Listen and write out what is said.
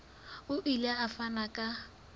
o ile a fana ka